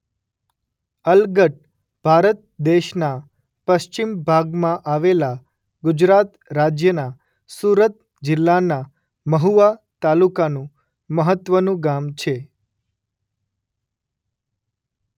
અલગટ ભારત દેશના પશ્ચિમ ભાગમાં આવેલા ગુજરાત રાજ્યના સુરત જિલ્લાના મહુવા તાલુકાનું મહત્વનું ગામ છે.